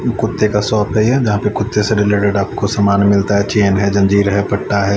कुत्ते का शॉप है जहा पर कुत्ते से रिलेटेड आपको समान मिलता है चैन है जंजीर है पट्टा है।